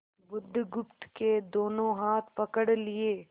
बुधगुप्त के दोनों हाथ पकड़ लिए